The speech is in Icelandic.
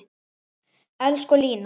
Elsku Lína.